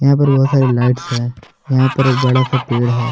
यहां पर बहुत सारी लाइट्स है यहां पर एक बड़ा सा पेड़ है।